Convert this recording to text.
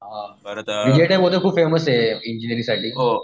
खूप फेमस आहे इंजिनिअरिंग साठी